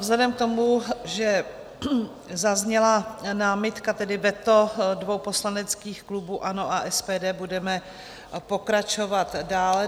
Vzhledem k tomu, že zazněla námitka, tedy veto dvou poslaneckých klubů, ANO a SPD, budeme pokračovat dále.